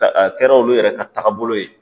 Ka a kɛra olu yɛrɛ ka taagabolo ye